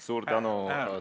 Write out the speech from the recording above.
Suur tänu!